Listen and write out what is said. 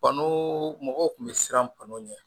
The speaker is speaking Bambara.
Banu mɔgɔw kun bɛ siran banu ɲɛ